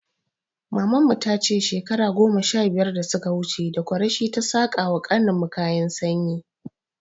Maman mu ta ce shekara goma sha biyar da suka wuce, da kureshe ta saƙa wa ƙanin mu kayan sanyi.